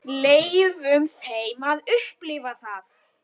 Leyfum þeim að upplifa það.